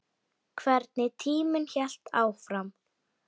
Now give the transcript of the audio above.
Þá voru liðin tvö ár.